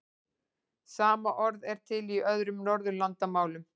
Sama orð er til í öðrum Norðurlandamálum.